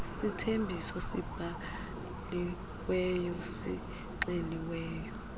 sithembiso sibhaliweyo sixeliweyo